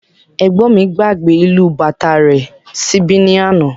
Ẹgbọn mí gbàgbé ìlù bàtá rẹ̀ síbí ní àna